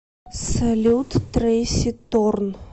салют трэйси торн